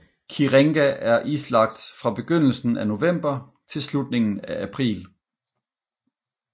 Kirenga er islagt fra begyndelsen af november til slutningen af april